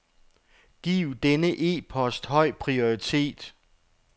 Giv denne e-post høj prioritet.